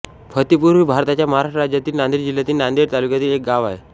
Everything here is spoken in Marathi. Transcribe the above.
फत्तेपूर हे भारताच्या महाराष्ट्र राज्यातील नांदेड जिल्ह्यातील नांदेड तालुक्यातील एक गाव आहे